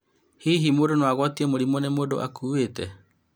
Hihi mũndũ no agũatio mũrimũ nĩ mũndũ ũkũĩte ?